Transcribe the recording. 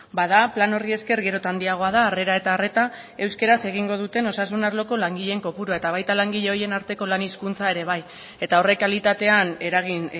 bada plan horri esker gero eta handiagoa da harrera eta arreta euskaraz egingo duten osasun arloko langileen kopurua eta baita langile horien arteko lan hizkuntza ere bai eta horrek kalitatean eragin